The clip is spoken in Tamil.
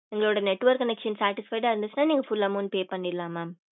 எங்களுட network connection ஆஹ் satisfied ஆஹ் இருந்துச்சுன நீங்க full amount pay பண்ணிரலாம் mam